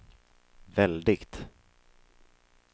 väldigt